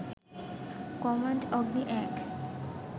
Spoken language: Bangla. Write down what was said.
কম্যান্ড অগ্নি ১